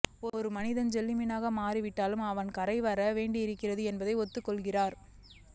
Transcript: ஒரு மனிதன் ஜெல்லிமீனாக மாறிவிட்டாலும் அவன் கரைக்கு வரவேண்டியிருக்கிறது என்பதை ஒத்துக்கொள்கிறார்